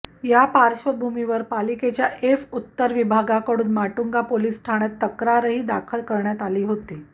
या पार्श्वभूमीवर पालिकेच्या एफ उत्तर विभागाकडून माटुंगा पोलीस ठाण्यात तक्रारही दाखल करण्यात आली होती